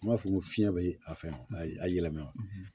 N b'a fɔ ko fiɲɛ bɛ a fɛn ayi a yɛlɛma